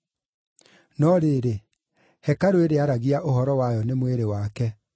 No rĩrĩ, hekarũ ĩrĩa aaragia ũhoro wayo nĩ mwĩrĩ wake.